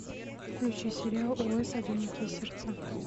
включи сериал ос одинокие сердца